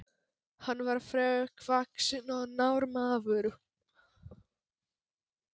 Hann var þrekvaxinn og knár maður.